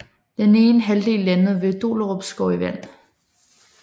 Den ene halvdel landede vet Dollerupskov i vandet